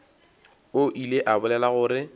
o ile a bolela gore